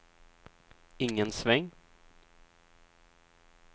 ingen sväng